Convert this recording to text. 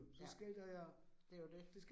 Ja, det jo det